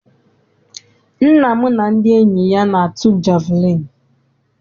Nna m na ndị enyi ya na-atụ jeviliini.